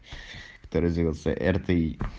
брт